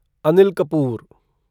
Anil Kapoor